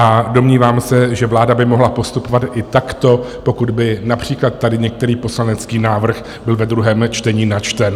A domnívám se, že vláda by mohla postupovat i takto, pokud by například tady některý poslanecký návrh byl ve druhém čtení načten.